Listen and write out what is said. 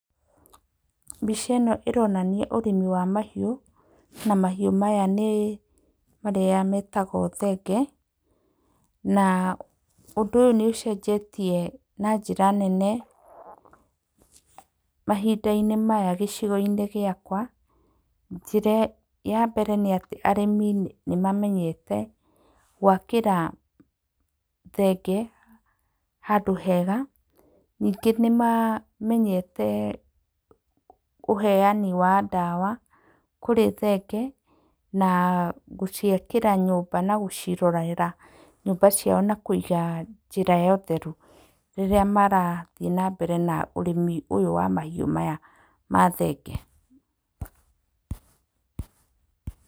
Mbica ĩno ĩronania ũrĩmi wa mahiũ na mahĩũ maya nĩ marĩa metagwo thenge, na ũndũ ũyũ nĩũcenjetie na njĩra nene mahindainĩ maya gĩcigoinĩ gĩakwa. Njĩra ya mbere arĩmi nĩmamenyete gwakĩra thenge handũ hega. Ningĩ nĩmamenyete ũheyani wa ndawa kũrĩ thenge na gũciakĩra nyũmba na gũciĩrorera nyũmba ciao na kũiga njĩra ya ũtheru rĩrĩa marathiĩ na mbere na ũrĩmi ũyũ wa mahiũ maya ma thenge.